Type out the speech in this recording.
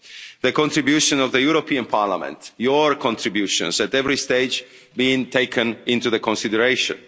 The contribution of the European Parliament, your contributions at every stage were being taken into consideration.